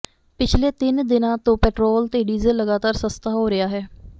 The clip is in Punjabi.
ਪਿਛਲੇ ਤਿੰਨ ਦਿਨਾਂ ਤੋਂ ਪੈਟਰੋਲ ਤੇ ਡੀਜ਼ਲ ਲਗਾਤਾਰ ਸਸਤਾ ਹੋ ਰਿਹਾ ਹੈ